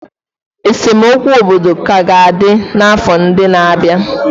Esemokwu obodo ka ga-adị n'afọ ndị na-abịa.